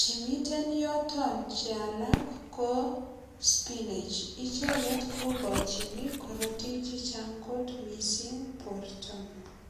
Kimiten yoton che alak ko spinech. Icheget kokochini korotik che chang mising borto.